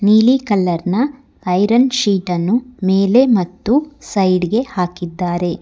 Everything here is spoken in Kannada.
ನೀಲಿ ಕಲರ್ ನ ಐರನ್ ಶೀಟ್ ನ್ನು ಮೇಲೆ ಮತ್ತು ಸೈಡ್ ಗೆ ಹಾಕಿದ್ದಾರೆ.